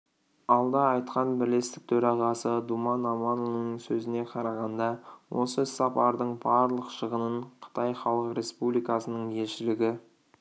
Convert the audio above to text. алда айтқан бірлестік төрағасы думан аманұлының сөзіне қарағанда осы іс-сапардың барлық шығынын қытай халық республикасының елшілігі